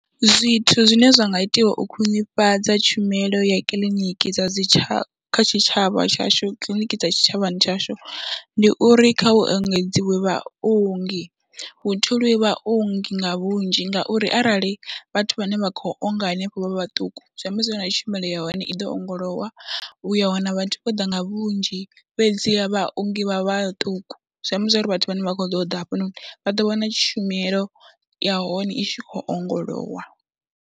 Zwithu zwine zwa nga itiwa u khwinifhadza tshumelo ya kiḽiniki dza dzi tsha kha tshitshavha tshashu, kiḽiniki dza tshitshavhani tshashu, ndi uri kha hu engedziwe vhaongi, hu tholiwe vhaongi nga vhunzhi ngauri arali vhathu vhane vha khou onga hanefho vha vha vhaṱuku zwi amba zwo ri na tshumelo ya hone i ḓo ongolowa. U ya wana vhathu vho ḓa nga vhunzhi fhedziha vhaongi vha vhaṱuku zwi amba zwo ri vhathu vhane vha khou ḓo ḓa hafhononi vha ḓo wana tshumelo ya hone i tshi khou ongolowa.